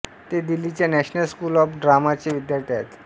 ते दिल्लीच्या national school of ड्रामाचे विद्यार्थी अाहेत